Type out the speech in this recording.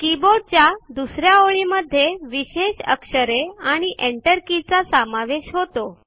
कीबोर्डच्या दुसऱ्या ओळीमध्ये विशेष अक्षरे आणि enter के चा समावेश होतो